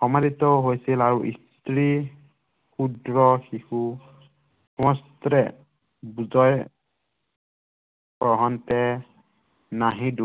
সমাদিত হৈছিল আৰু স্ত্ৰী